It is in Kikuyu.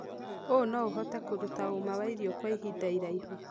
ũũ no ũhote kũruta ũma wa irio kwa ihinda iraihu